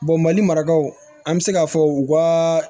mali marakaw an bɛ se k'a fɔ u ka